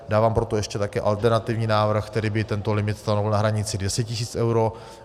Dávám proto ještě také alternativní návrh, který by tento limit stanovil na hranici 200 tis. eur.